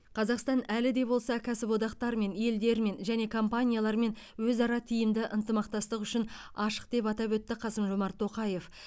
қазақстан әлі де болса кәсіподақтармен елдермен және компаниялармен өзара тиімді ынтымақтастық үшін ашық деп атап өтті қасым жомарт тоқаев